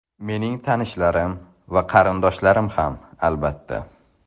Mening tanishlarim va qarindoshlarim ham, albatta.